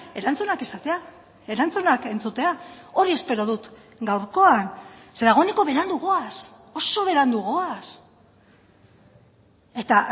erantzunak izatea erantzunak entzutea hori espero dut gaurkoan ze dagoeneko berandu goaz oso berandu goaz eta